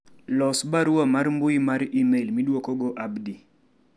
los barua mar mbui mar email midwokogo Abdi